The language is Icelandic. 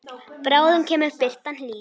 Bráðum kemur birtan hlý.